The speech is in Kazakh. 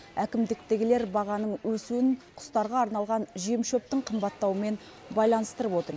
әкімдіктегілер бағаның өсуін құстарға арналған жем шөптің қымбаттауымен байланыстырып отыр